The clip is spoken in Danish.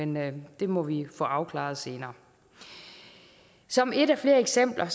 men det må vi få afklaret senere som et af flere eksempler